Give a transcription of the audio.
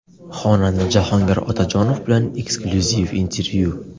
Xonanda Jahongir Otajonov bilan eksklyuziv intervyu.